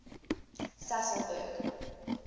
sasolburg